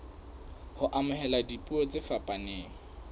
ho amohela dipuo tse fapaneng